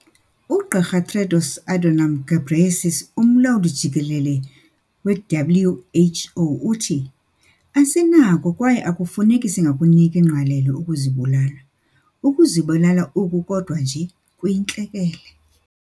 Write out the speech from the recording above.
UGqr Tedros Adhanom Ghebreyesus, uMlawuli-Jikelele we-WHO uthi- "Asinakho kwaye akufuneki singakuniki ngqalelo ukuzibulala."Ukuzibulala oku kodwa nje kuyintlekele."